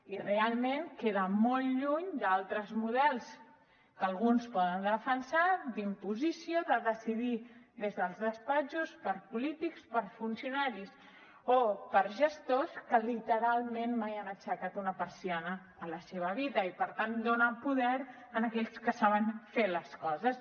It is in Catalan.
i realment queda molt lluny d’altres models que alguns poden defensar d’imposició de decidir des dels despatxos per polítics per funcionaris o per gestors que literalment mai han aixecat una persiana a la seva vida i per tant dona poder a aquells que saben fer les coses